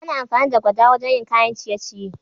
Ana amfani da gwada wajen yin kayan ciye-ciye